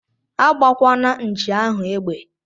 Agbakwana nchi ahu egbe!!